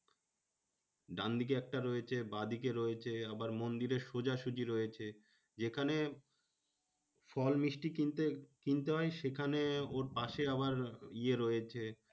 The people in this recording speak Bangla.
ডানদিকে একটা রয়েছে, বাঁ দিকে রয়েছে, আবার মন্দিরের সোজাসুজি রয়েছে। যেখানে ফল মিষ্টি কিনতে কিনতে হয়, সেখানে ওর পাশে আবার ইয়ে রয়েছে।